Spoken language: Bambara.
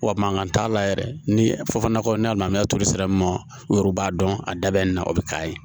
Wa mankan t'a la yɛrɛ ni fɔbana kɔ n'a lamɛn turu sira min ma o yɛrɛ b'a dɔn a da bɛ nin na o bɛ k'a ye